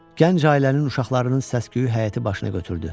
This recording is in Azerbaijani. Gənc ailənin uşaqlarının səs-küyü həyəti başını götürdü.